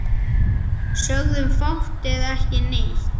Sögðum fátt eða ekki neitt.